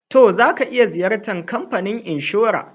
To, za ka iya Ziyartan kamfanin inshora.